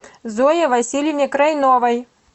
зое васильевне крайновой